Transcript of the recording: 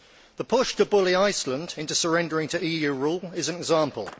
The push to bully Iceland into surrendering to EU rule is an example.